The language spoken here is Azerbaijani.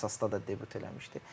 Əsasda da debüt eləmişdi.